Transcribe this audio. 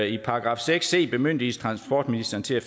i § seks c bemyndiges transportministeren til at